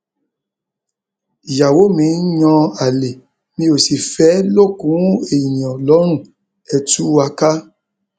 ìyàwó mi ń yan àlè mi ó sì fẹẹ lókun èèyàn lọrùn ẹ tù wá ká